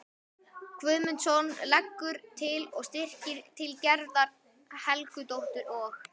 Guðmundsson og leggur til að styrkir til Gerðar Helgadóttur og